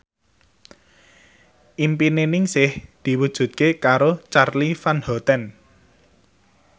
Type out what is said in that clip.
impine Ningsih diwujudke karo Charly Van Houten